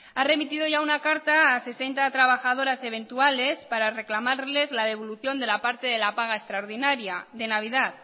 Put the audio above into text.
ha remitido ya una carta a sesenta trabajadoras eventuales para reclamarles la devolución de la parte de la paga extraordinaria de navidad